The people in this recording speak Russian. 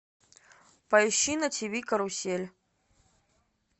поищи на тв карусель